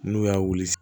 N'u y'a wuli